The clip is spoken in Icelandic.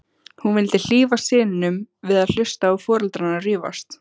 Hún vildi hlífa syninum við að hlusta á foreldrana rífast.